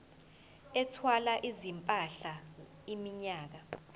ethwala izimpahla iminyaka